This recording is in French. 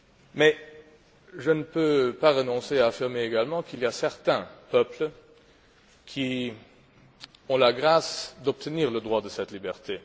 Mais je ne peux pas m'empêcher d'affirmer également qu'il y a certains peuples qui ont la grâce d'obtenir le droit à cette liberté.